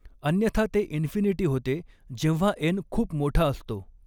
अन्यथा ते इनफ़िनीटी होते जेव्हा एन खूप मोठा असतो.